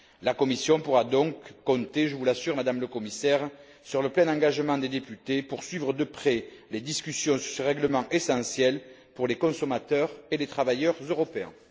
La Commission pourra donc compter, je vous l'assure, Madame la Commissaire, sur le plein engagement des députés pour suivre de près les discussions sur ce règlement essentiel pour les consommateurs et les travailleurs européens.